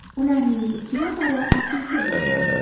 Ularning ikki nafari aka-uka bo‘lgan.